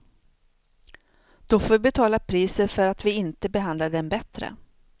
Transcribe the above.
Då får vi betala priset för att vi inte behandlade dem bättre.